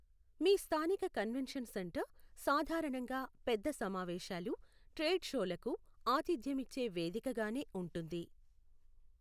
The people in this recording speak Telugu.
మీ స్థానిక కన్వెన్షన్ సెంటర్ సాధారణంగా పెద్ద సమావేశాలు, ట్రేడ్ షోలకు ఆతిథ్యమిచ్చే వేదికగానే ఉంటుంది.